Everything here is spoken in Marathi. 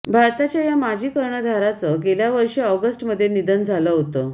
भारताच्या या माजी कर्णधाराचं गेल्या वर्षी ऑगस्टमध्ये निधन झालं होतं